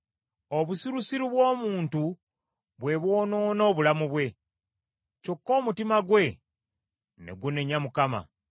Obusirusiru bw’omuntu bwe bwonoona obulamu bwe, kyokka omutima gwe ne gunenya Mukama .